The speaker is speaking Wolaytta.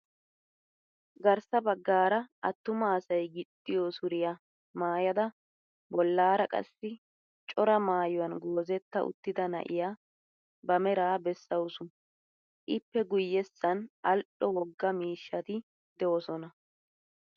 Garssa baggaara attuma asay gixxiyo suriya maayada bollaara qassi cora maayuwan goozetta uttida na'iya ba meraa bessawusu. Ippe guyyessan al"o wogaa miishshati doosona.